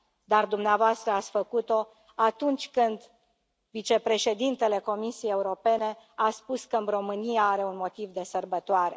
Dar dumneavoastră ați făcut o atunci când vicepreședintele Comisiei Europene a spus că România are un motiv de sărbătoare.